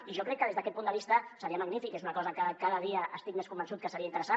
i jo crec que des d’aquest punt de vista seria magnífic és una cosa que cada dia estic més convençut que seria interessant